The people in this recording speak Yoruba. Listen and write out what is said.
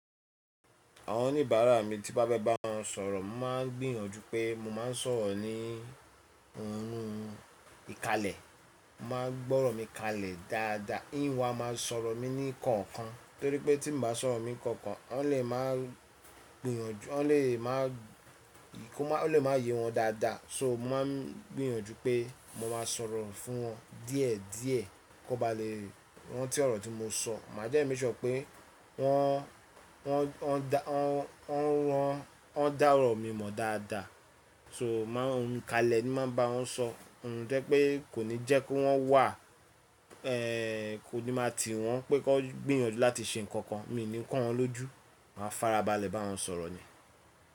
Àwọn oníbàárà mi tí n bá fẹ́ bá wọn sọ̀rọ̀, màá gbìyànjú pé mo máa ń sọ̀rọ̀ ní ohùn ìkálẹ̀. Mo máa gbọ́rọ̀ mi káalè dáadáa. Ń ó wá máa sọ̀rọ̀ mi ní kankan torípé tí mo bá sọ̀rọ̀ mi kankan wọn le máa gbìyànjú, o le máa yé wọn dáadáa. So mo màá ń gbìyànjú pé mo máa sọ̀rọ̀ fún wọn díẹ̀ díẹ̀ kí wọ́n bá lè rántí ọ̀rọ̀ tí mo sọ. Màá dẹ̀ make sure pé wọ́n, wọ́n dá ọ̀rọ̀ mi mọ̀ dáadáa. So mo màá ń kalẹ̀ ni máa ń bá wọn sọ. Ohùn tó jẹ́ pé kò ní jẹ́ kí wọ́n wà, ẹ́ kò ní máa tì wọ́n pé kí wọ́n gbìyànjú láti ṣe nǹkan kan. Mí ní kó wọn lójú, màá farabalẹ̀ bá wọn sọ̀rọ̀ ni.